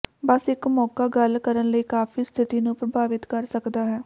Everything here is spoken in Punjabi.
ਬਸ ਇੱਕ ਮੌਕਾ ਗੱਲ ਕਰਨ ਲਈ ਕਾਫ਼ੀ ਸਥਿਤੀ ਨੂੰ ਪ੍ਰਭਾਵਿਤ ਕਰ ਸਕਦਾ ਹੈ